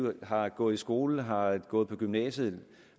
og har gået i skole har gået på gymnasiet